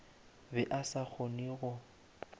be a sa kgone go